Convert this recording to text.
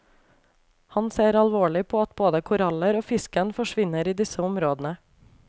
Han ser alvorlig på at både koraller og fisken forsvinner i disse områdene.